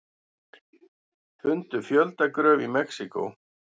Fundu fjöldagröf í Mexíkó